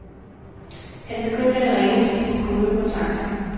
Han begyndte at ringe til sine gode kontakter.